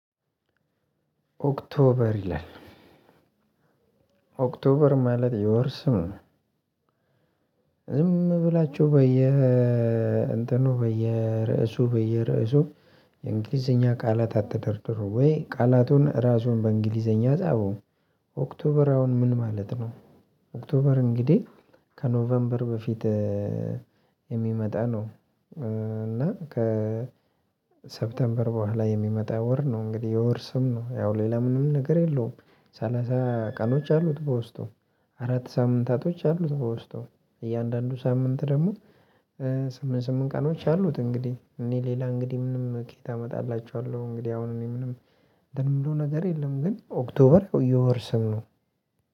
ኦክቶበር ይላል ኦክቶበር ማለት የወርስምነው ዝም ብላችሁ በየ እንትኑ በየርእሱ በየርእሱ የእንግሊዘኛ ቃላት አትደርድሩ ወይ ቃላቱን ራሱን በእንግሊዘኛ ጻፉ። ኦክቶበር አሁን ምን ማለት ነው? ኦክቶበር እንግዲህ ከኖቨምበር በፊት የሚመጣ ነው። እና ከሰፕቴምበር በኋላ የሚመጣ ወር ነው እንግዲህ የወር ስም ነው። ያው ሌላ ምንም ነገር የለውም። ሰላሳ ቀኖች አሉት በውስጡ አራት ሳምንታቶች አሉት በውስጡ እያንዳንዱ ሳምንት ደግሞ ስምንት ስምንት ቀኖች አሉት። እንግዲህ እኔ ሌላ እንግዲህ ምንም ኬት አመጣላችኋለሁ። እንግዲህ አሁን እኔ ምንም ደግሞ ምንም ነገር የለም። ግን ኦክቶበር የወር ስም ነው።